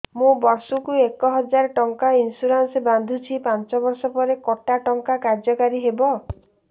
ମୁ ବର୍ଷ କୁ ଏକ ହଜାରେ ଟଙ୍କା ଇନ୍ସୁରେନ୍ସ ବାନ୍ଧୁଛି ପାଞ୍ଚ ବର୍ଷ ପରେ କଟା ଟଙ୍କା କାର୍ଯ୍ୟ କାରି ହେବ